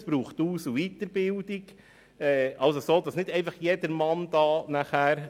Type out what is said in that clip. Es braucht Aus- und Weiterbildung, daher kann das nicht einfach jedermann machen.